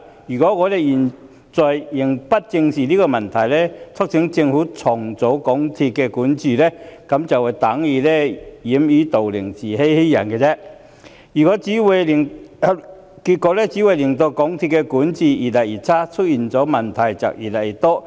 如果我們現在仍不正視問題，促請政府重整港鐵公司的管治，便等於掩耳盜鈴、自欺欺人，結果只會令港鐵公司的管治越來越差，越來越多問題。